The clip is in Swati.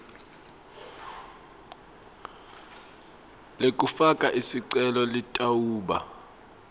lekufaka sicelo litawuba